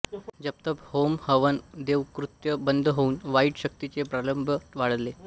जपतप होम हवन देवकृत्य बंद होऊन वाईट शक्तींचे प्राबल्य वाढले